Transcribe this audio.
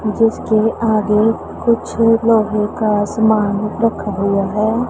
जीसके आगे कुछ लोहे का सामान रखा हुआ है।